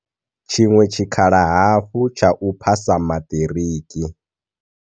Tshiṅwe tshikhala hafhu tsha u phasa maṱiriki.